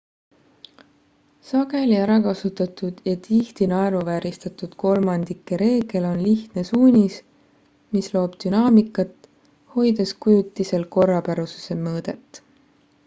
sageli ärakasutatud ja tihti naeruvääristatud kolmandike reegel on lihtne suunis mis loob dünaamikat hoides kujutisel korrapärasuse mõõdet